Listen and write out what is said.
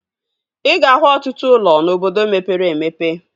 Ị ga-ahụ ọtụtụ ụlọ n'obodo mepere emepe